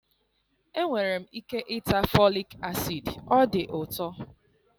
Enwere m ike ịta folic acid, ọ dị ụtọ